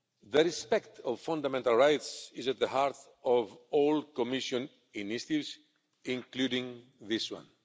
The respect of fundamental rights is at the heart of all Commission initiatives, including this one.